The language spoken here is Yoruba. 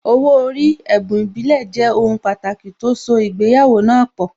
Owó orí, ẹ̀bùn ìbílẹ̀, jẹ́ ohun pàtàkì tó so ìgbéyàwó náà pọ̀